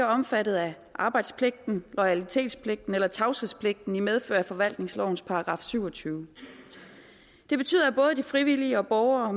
omfattet af arbejdspligten loyalitetspligten og tavshedspligten i medfør af forvaltningslovens § syvogtyvende det betyder at både de frivillige og borgere